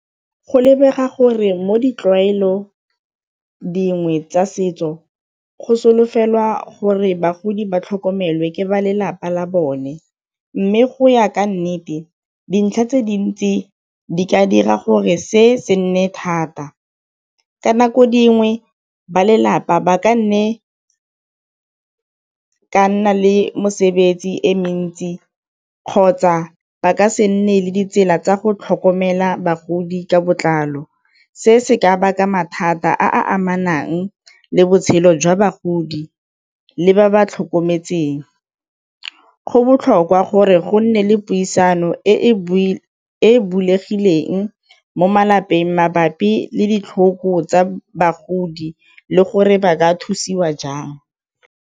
Go lebega gore mo ditlwaelo dingwe tsa setso go solofelwa gore bagodi ba tlhokomelwe ke ba lelapa la bone, mme go ya ka nnete dintlha tse dintsi di ka dira gore se se nne thata. Ka nako dingwe ba lelapa ba ka nne ka nna le mosebetsi e mentsi kgotsa ba ka se nne le ditsela tsa go tlhokomela bagodi ka botlalo, se se ka baka mathata a a amanang le botshelo jwa bagodi le ba ba tlhokometseng. Go botlhokwa gore go nne le puisano e e bulegileng mo malapeng mabapi le ditlhoko tsa bagodi le gore ba ka thusiwa jang.